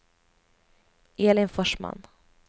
Elin Forsman